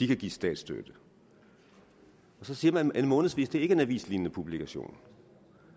kan gives statsstøtte og så siger man at en månedsavis ikke er en avislignende publikation